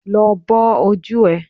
Lọ bọ́ ojú ẹ